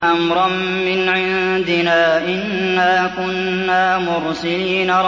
أَمْرًا مِّنْ عِندِنَا ۚ إِنَّا كُنَّا مُرْسِلِينَ